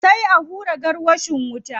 Sai a hura gwarwashin wuta.